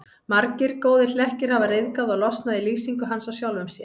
Margir góðir hlekkir hafa ryðgað og losnað í lýsingu hans á sjálfum sér.